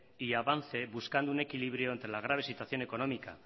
y avance buscando un equilibrio entre la grave situación económica